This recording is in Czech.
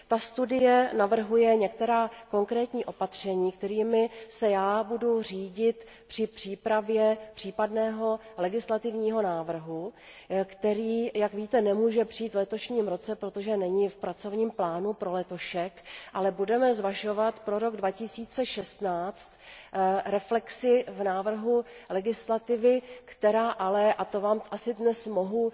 Ta studie navrhuje některá konkrétní opatření, kterými se já budu řídit při přípravě případného legislativního návrhu, který, jak víte, nemůže přijít v letošním roce, protože není v letošním pracovním plánu. Budeme však zvažovat pro rok 2016 reflexi v návrhu legislativy, která ale, a to vám asi dnes už mohu